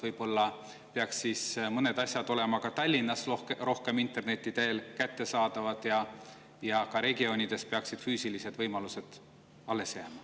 Võib-olla peaks mõned asjad olema Tallinnas rohkem interneti teel kättesaadavad, aga regioonides peaksid füüsilised võimalused alles jääma.